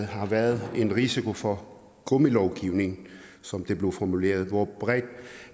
har været i risiko for at gummilovgivning som det blev formuleret hvor bredt